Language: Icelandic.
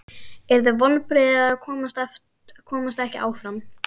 Yrðu vonbrigði að komast ekki áfram?